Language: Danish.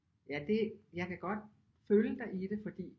Ja det jeg kan godt følge dig i det fordi